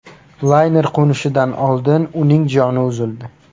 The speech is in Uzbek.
Layner qo‘nishidan oldin uning joni uzildi.